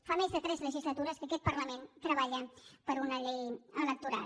fa més de tres legislatures que aquest parlament treballa per una llei electoral